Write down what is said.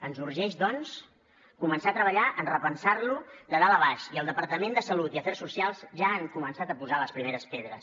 ens urgeix doncs començar a treballar en repensar lo de dalt a baix i el departament de salut i el d’afers socials ja han començat a posar les primeres pedres